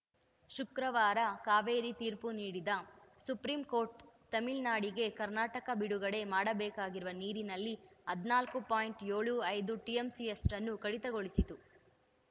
ಶುಕ್ರವಾರ ಕಾವೇರಿ ತೀರ್ಪು ನೀಡಿದ ಸುಪ್ರೀಂ ಕೋರ್ಟ್‌ ತಮಿಳ್ ನಾಡಿಗೆ ಕರ್ನಾಟಕ ಬಿಡುಗಡೆ ಮಾಡಬೇಕಿರುವ ನೀರಿನಲ್ಲಿ ಹದಿನಾಲ್ಕು ಪಾಯಿಂಟ್ ಎಪ್ಪತ್ತೈದು ಟಿಎಂಸಿಯಷ್ಟನ್ನು ಕಡಿತಗೊಳಿಸಿತ್ತು